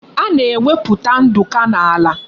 A na-egwuputa nduku n'ala